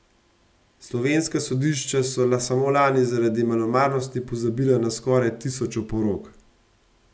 Slovenska sodišča so samo lani zaradi malomarnosti pozabila na skoraj tisoč oporok.